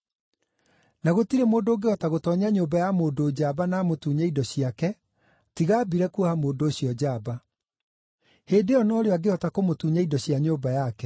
Na gũtirĩ mũndũ ũngĩhota gũtoonya nyũmba ya mũndũ njamba na amũtunye indo ciake, tiga ambire kuoha mũndũ ũcio njamba. Hĩndĩ ĩyo no rĩo angĩhota kũmũtunya indo cia nyũmba yake.